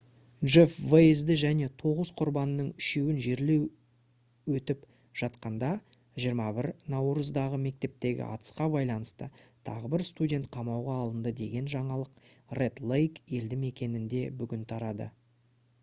джеф вейзді және тоғыз құрбанның үшеуін жерлеу өтіп жатқанда 21 наурыздағы мектептегі атысқа байланысты тағы бір студент қамауға алынды деген жаңалық ред лейк елді мекенінде бүгін тарады